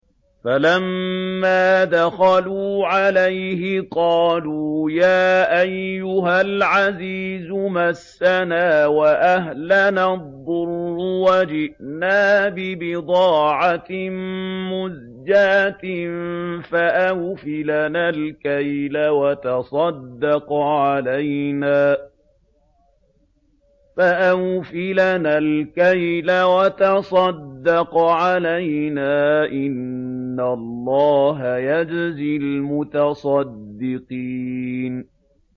فَلَمَّا دَخَلُوا عَلَيْهِ قَالُوا يَا أَيُّهَا الْعَزِيزُ مَسَّنَا وَأَهْلَنَا الضُّرُّ وَجِئْنَا بِبِضَاعَةٍ مُّزْجَاةٍ فَأَوْفِ لَنَا الْكَيْلَ وَتَصَدَّقْ عَلَيْنَا ۖ إِنَّ اللَّهَ يَجْزِي الْمُتَصَدِّقِينَ